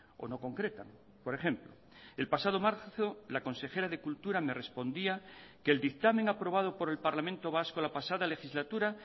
o no concretan por ejemplo el pasado marzo la consejera de cultura me respondía que el dictamen aprobado por el parlamento vasco la pasada legislatura